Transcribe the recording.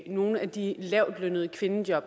nogle af de lavtlønnede kvindejob